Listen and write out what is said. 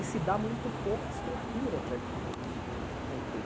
E se dá muito pouca estrutura para que isso